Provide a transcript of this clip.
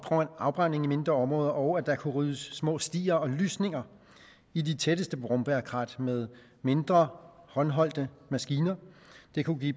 afbrænding af mindre områder og at der kunne ryddes små stier og lysninger i de tætteste brombærkrat med mindre håndholdte maskiner det kunne give